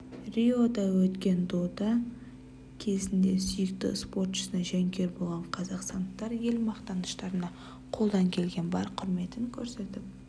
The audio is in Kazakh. риода өткен дода кезінде сүйікті спортшысына жанкүйер болған қазақстандықтар ел мақтаныштарына қолдан келген бар құрметін көрсетіп